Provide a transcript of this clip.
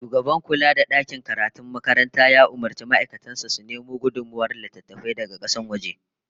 Shugaban kula da dakin karatun makaranta ya umurci ma'aikatan sa su nemo gudummawar littattafai daga kasashen waje